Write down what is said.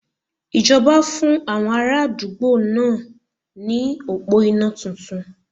Ìjọba fún àwọn ara àdúgbò náà ní òpó iná titun